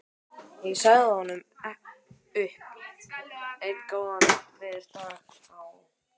Ég sagði honum upp einn góðan veðurdag á